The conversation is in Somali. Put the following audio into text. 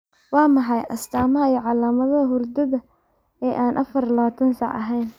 Waa maxay astaamaha iyo calaamadaha hurdada ee aan afar iyo labatan saac ahayn?